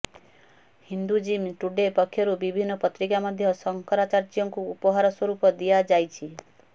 Hinduism today ପକ୍ଷରୁ ବିଭିନ୍ନ ପତ୍ରିକା ମଧ୍ୟ ଶଙ୍କରାଚାର୍ଯ୍ୟଙ୍କୁ ଉପହାର ସ୍ୱରୂପ ଦିଆଯାଇଛି